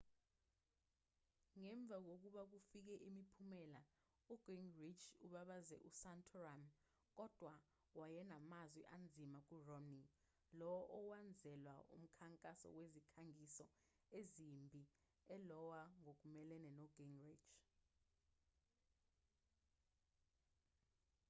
ngemva kokuba kufike imiphumela ugingrich ubabaze usantorum kodwa wayenamazwi anzima kuromney lowo owenzelwa umkhankaso wezikhangiso ezimbi e-iowa ngokumelene nogingrich